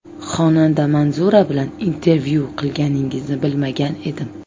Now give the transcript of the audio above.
Xonanda Manzura bilan intervyu qilganingizni bilmagan edim.